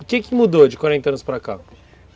O que que mudou de quarenta anos para cá?